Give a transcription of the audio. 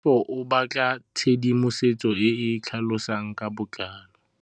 Tlhalefô o batla tshedimosetsô e e tlhalosang ka botlalô.